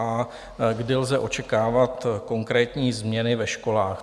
A kdy lze očekávat konkrétní změny ve školách?